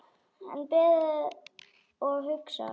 Enn beðið og hugsað